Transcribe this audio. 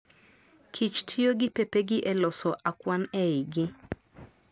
Kich tiyo gi pepegi e loso akwan e igi